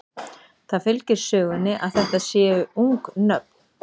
Það fylgir sögunni að þetta séu ung nöfn.